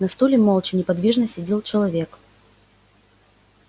на стуле молча неподвижно сидел человек